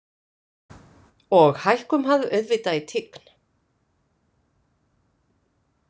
Og hækkum hann auðvitað í tign.